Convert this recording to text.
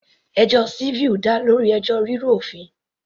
Ẹjọ́ civil dá lórí ẹjọ́ rírú òfin.